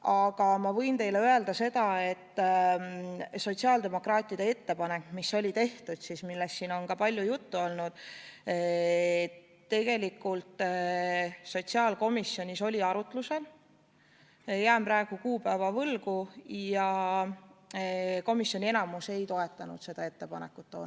Aga ma võin teile öelda seda, et sotsiaaldemokraatide ettepanek, millest siin on palju juttu olnud, tegelikult oli sotsiaalkomisjonis arutusel, jään praegu kuupäeva võlgu, kuid enamik komisjoni liikmeid toona ei toetanud seda ettepanekut.